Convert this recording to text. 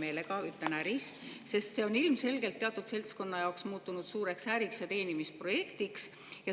meelega "äri", sest see on ilmselgelt teatud seltskonna jaoks muutunud suureks äriks ja teenimisprojektiks.